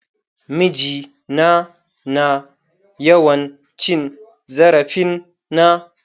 Miji na na yawan cin zarafin na.